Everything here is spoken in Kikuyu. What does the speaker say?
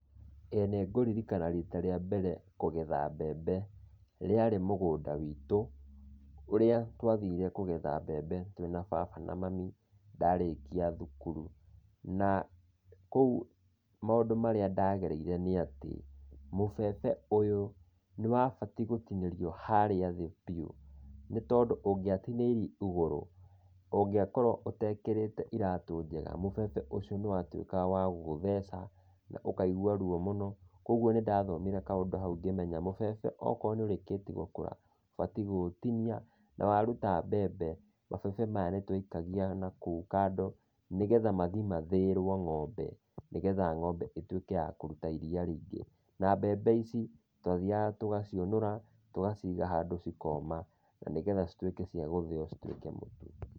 Ĩĩ nĩ ngũririkana rita rĩa mbere kũgetha mbembe, rĩarĩ mũgũnda witũ, ũrĩa twathire kũgetha mbembe twĩna baba na mami, ndarĩkia thukuru. Na kũu maũndũ marĩa ndagereire nĩ atĩ, mũbebe ũyũ nĩwabati gũtinĩrio harĩa thĩ biũ, nĩ tondũ ũngĩatinĩirie igũrũ, ũngĩakorwo ũtekĩrĩte iratũ njega, mũbebe ũcio nĩwatuĩkaga wa gũgũtheca, na ũkaigua ruo mũno, koguo nĩndathomire kaũndũ hau ngĩmenya, mũbebe okoro nĩũrĩkĩti gũkũra ũbatiĩ gũũtinia, na waruta mbembe, mabebe maya nĩtwaikagia na kũu kando, nĩgetha mathi mathĩĩrwo ng'ombe nĩgetha ng'ombe ĩtuĩke ya kũruta iriia rĩingĩ. Na mbembe ici twathiaga tũgaciũnũra, tũgaciga handũ cikoma. Na nĩgetha cituĩke cia gũthĩo cituĩke mũtu.